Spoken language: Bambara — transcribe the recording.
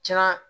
Kɛra